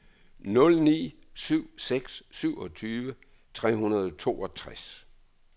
nul ni syv seks syvogtyve tre hundrede og toogtres